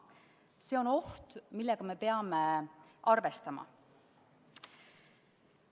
See on oht, millega me peame arvestama.